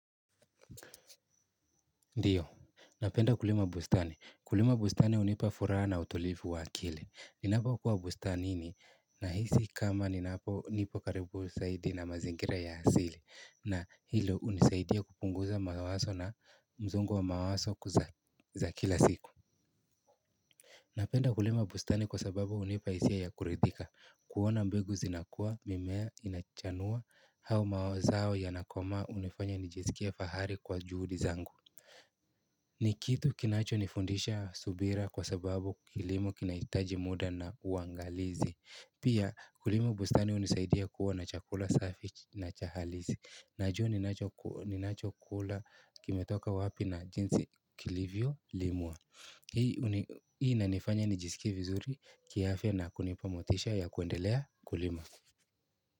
Ndiyo, napenda kulima bustani. Kulima bustani hunipa furaha na utulivu wa akili. Ninapokuwa bustanini ninahisi kama nipo karibu zaidi na mazingira ya asili, na hilo hunisaidia kupunguza mawazo na msongo wa mawazo wa kila siku. Napenda kulima bustani kwa sababu hunipa hisia ya kuridhika. Kuona mbegu zinakua, mimea inachanua, au mazao yanakomaa, kunanifanya nijisikie fahari kwa juhudi zangu. Ni kitu kinachonifundisha subira kwa sababu kilimo kinahitaji muda na uangalizi. Pia kulima bustani hunisaidia kuona chakula safi na cha halisi. Najua ninachokula kimetoka wapi na jinsi kilivyolimwa. Hii inanifanya nijisikie vizuri kiafya na kunipa motisha ya kuendelea kulima.